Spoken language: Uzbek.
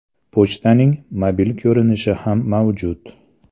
Pochtaning mobil ko‘rinishi ham mavjud.